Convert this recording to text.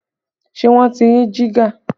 Ṣé wọ́n ti rí jígà?